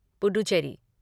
Puducherry